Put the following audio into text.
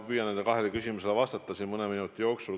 Ma püüan nendele kahele küsimusele vastata mõne minuti jooksul.